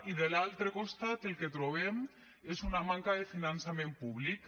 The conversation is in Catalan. i de l’altre costat el que trobem és una manca de finançament públic